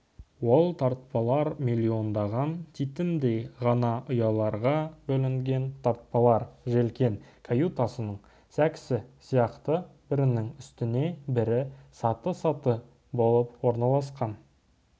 ол тартпалар миллиондаған титімдей ғана ұяларға бөлінген тартпалар желкен каютасының сәкісі сияқты бірінің үстіне бірі саты-саты болып орналасқан